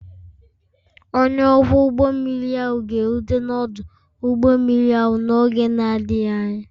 Onye ọkwọ ụgbọ mmiri ahụ ga-erute n'ọdụ ụgbọ mmiri n'oge na-adịghị anya